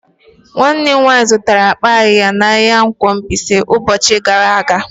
Nwannem nwanyi zụtara akpa ayiya n'ahia nkwo Mbaise ubochi abuo gara aga.